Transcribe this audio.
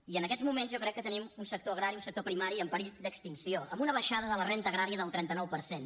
i en aquests moments jo crec que tenim un sector agrari un sector primari en perill d’extinció amb una baixada de la renda agrària del trenta nou per cent